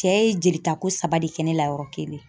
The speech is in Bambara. Cɛ ye jeli ta ko saba de kɛ ne la yɔrɔ kelen.